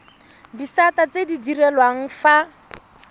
disata tse di direlwang fa